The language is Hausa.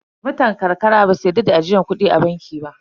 Mutan ƙarƙara ba su yarda da ajiyar kudi a banki ba.